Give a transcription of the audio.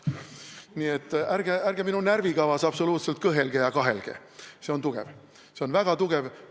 Nii et ärge minu närvikavas absoluutselt kõhelge ja kahelge, see on tugev, see on väga tugev.